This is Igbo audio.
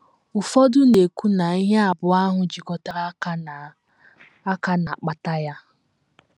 Ụfọdụ na - ekwu na ihe abụọ ahụ jikọtara aka na - aka na - akpata ya.